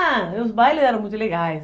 Ah, os bailes eram muito legais.